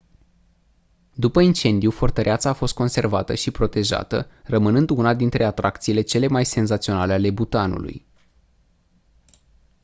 după incendiu fortăreața a fost conservată și protejată rămânând una dintre atracțiile cele mai senzaționale ale bhutanului